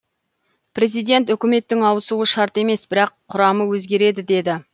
президент үкіметтің ауысуы шарт емес бірақ құрамы өзгереді деді